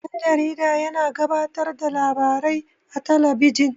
Dan-jarida yana gabatar da labarai a talabijin.